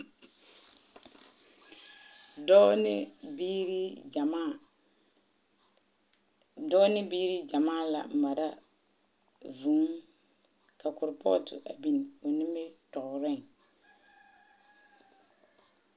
Dɔɔ ne biiri gyamaa. Dɔɔ ne biiri gyamaa la mara vũũ ka korpɔɔto a biŋ o nimitɔɔreŋ.